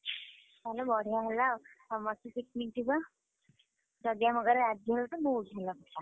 ତାହେଲେ ବଢିଆ ହେଲା ଆଉ, ସମସ୍ତେ picnic ଯିବା, ଯଦି ଆମ ଘରେ ରାଜି ହେବେ ତ ବହୁତ ଭଲ କଥା।